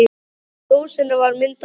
Á dósinni var mynd af hundi.